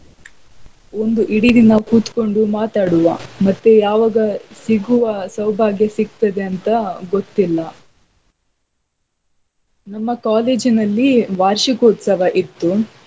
ಒಂದು ಇಡೀ ದಿನ ಕುತ್ಕೊಂಡು ಮಾತಾಡುವಾ ಮತ್ತೆ ಯಾವಾಗ ಸಿಗುವ ಸೌಭಾಗ್ಯ ಸಿಗ್ತದೆ ಅಂತ ಗೊತ್ತಿಲ್ಲಾ . ನಮ್ಮ college ನಲ್ಲಿ ವಾರ್ಷಿಕೋತ್ಸವ ಇತ್ತು.